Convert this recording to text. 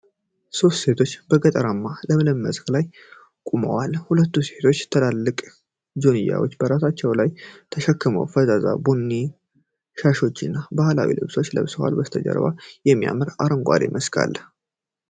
ሦስት ሴቶች በገጠር ለምለም መስክ ላይ ቆመዋል። ሁለቱ ሴቶች ትላልቅ ጆንያዎችን በራሳቸው ላይ ተሸክመው፣ ፈዛዛ ቡኒ ሻሾችና ባህላዊ ልብሶችን ለብሰዋል። ከበስተጀርባ የሚያምር አረንጓዴ መስክ አለ።